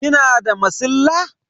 Kina da masilla?